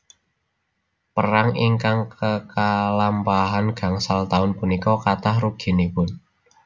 Perang ingkang kekalampahan gangsal taun punika kathah ruginipun